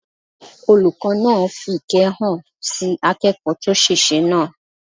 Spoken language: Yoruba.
Olùkọ́ náà fi ìkẹ́ hàn sí akẹ́kọ̀ọ́ tó ṣèṣe náà